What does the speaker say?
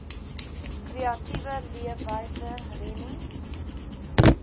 kreatiewe leefwyse rennies